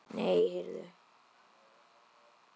Nei, heyrðu!